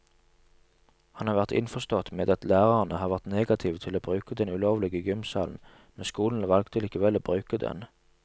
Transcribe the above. Han har vært innforstått med at lærerne har vært negative til å bruke den ulovlige gymsalen, men skolen valgte likevel å bruke den.